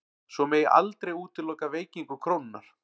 Svo megi aldrei útiloka veikingu krónunnar